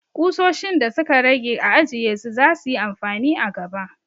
Kusoshin da su ka rage a ajiye su! za su yi amfani a gaba.